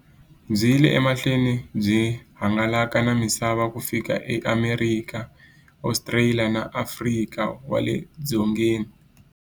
Byi yile emahlweni byi hangalaka na misava ku fika e Amerika, Ostraliya na Afrika wale dzongeni.